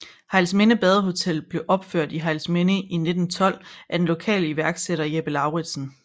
Hejlsminde Badehotel blev opført i Hejlsminde i 1912 af den lokale iværksætter Jeppe Lauridsen